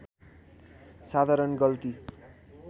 साधारण गल्ति